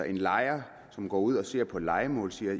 en lejer som går ud og ser på et lejemål siger at